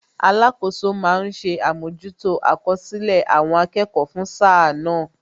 Alakoso ma ń ṣe àmójútó àkọsílẹ̀ àwọn akẹ́kọ̀ọ́ fún sáà náà